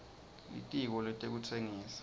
litiko letekutsengisa